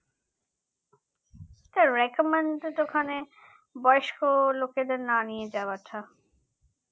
sir recommended ওখানে বয়স্ক লোকেদের না নিয়ে যাওয়াটা